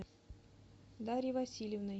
дарьей васильевной